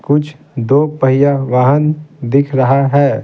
कुछ दो पैया वाहन दिख रहा है।